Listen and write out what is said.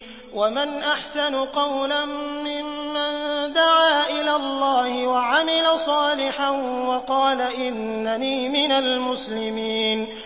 وَمَنْ أَحْسَنُ قَوْلًا مِّمَّن دَعَا إِلَى اللَّهِ وَعَمِلَ صَالِحًا وَقَالَ إِنَّنِي مِنَ الْمُسْلِمِينَ